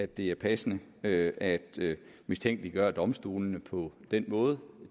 det er passende at at mistænkeliggøre domstolene på den måde